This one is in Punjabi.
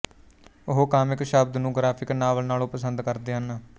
ਉਹ ਕਾਮਿਕ ਸ਼ਬਦ ਨੂੰ ਗ੍ਰਾਫਿਕ ਨਾਵਲ ਨਾਲੋਂ ਪਸੰਦ ਕਰਦੇ ਹਨ